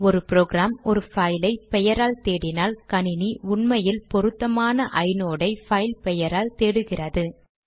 ஒரு ப்ரோக்ராம் ஒரு பைலை பெயரால் தேடினால் கணினி உண்மையில் பொருத்தமான ஐநோட் ஐ பைல் பெயரால் தேடுகிறது